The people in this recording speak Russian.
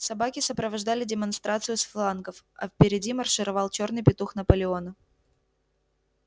собаки сопровождали демонстрацию с флангов а впереди маршировал чёрный петух наполеона